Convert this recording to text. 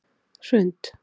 Hrund